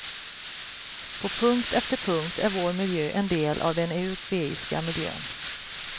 På punkt efter punkt är vår miljö en del av den europeiska miljön.